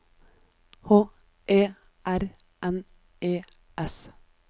H E R N E S